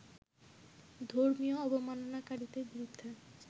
ধর্মীয় অবমাননাকারীদের বিরুদ্ধে